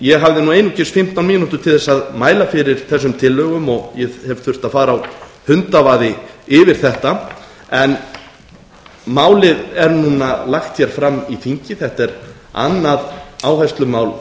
ég hafði einungis fimmtán mínútur til að mæla fyrir þessum tillögum og ég hef þurft að fara á hundavaði yfir þetta en málið er núna lagt fram í þingi þetta er annað áherslumál